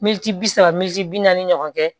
Mɛtiri bi saba mɛti bi naani ɲɔgɔn kɛ